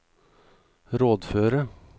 rådføre